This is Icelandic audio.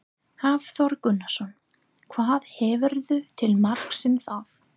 Hafþór Gunnarsson: Hvað hefurðu til marks um það?